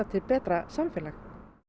til betra samfélag